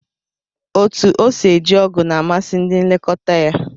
Otú o si eji ogụ̀ na amasị ndị nlekọta ya